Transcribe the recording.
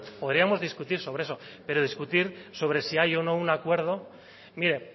podríamos discutir sobre eso pero discutir sobre si hay o no un acuerdo mire